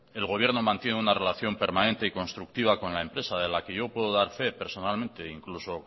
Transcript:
el gobierno mantiene una relación permanente y constructiva con la empresa de la que yo puedo dar fe personalmente incluso